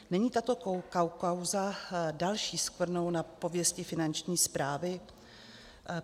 Není tato kauza další skvrnou na pověsti Finanční správy?